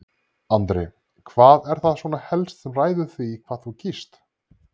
Andri: Hvað er það svona helst sem ræður því hvað þú kýst?